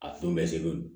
A don bɛ se ko